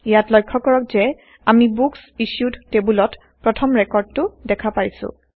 ইয়াত লক্ষয় কৰক যে আমি বুকচ ইছ্যুড টেইবলত প্ৰথম ৰেকৰ্ডটো দেখা পাইছো